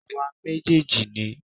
Àwa méjèèjì ni